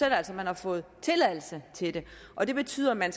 at man har fået tilladelse til det og det betyder at man